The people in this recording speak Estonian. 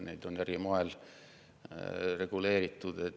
Neid on eri moel reguleeritud.